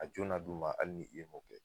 A jo na d'u ma, hali ni i m'o kɛ